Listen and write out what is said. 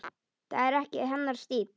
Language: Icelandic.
Það er ekki hennar stíll.